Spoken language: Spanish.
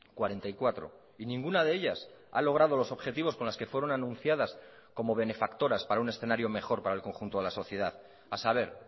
cuarenta y cuatro y ninguna de ellas ha logrado los objetivos con las que fueron anunciadas como benefactoras para un escenario mejor para el conjunto de la sociedad a saber